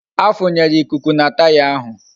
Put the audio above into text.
A funyere ikuku na taya ahụ